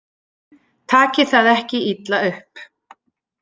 Takið það ekki illa upp.